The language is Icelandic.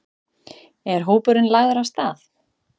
Er hópurinn lagður af stað?